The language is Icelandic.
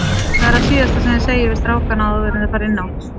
Hvað er það síðasta sem þið segið við strákana áður enn þeir fara inn á?